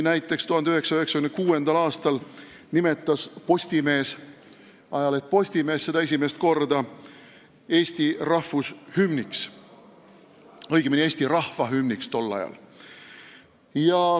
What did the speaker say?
Näiteks 1896. aastal nimetas ajaleht Postimees seda esimest korda Eesti rahvushümniks, õigemini, eesti rahva hümniks.